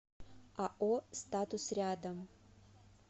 ао статус рядом